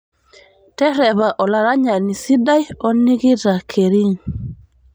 terepa olaranyani sidai o nikita kering